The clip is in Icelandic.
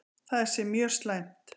Það sé mjög slæmt.